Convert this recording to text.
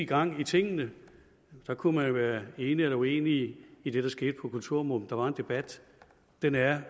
gang i tingene kunne man være enig eller uenig i det der skete på kulturområdet der var en debat den er